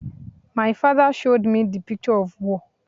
My father showed me the picture of war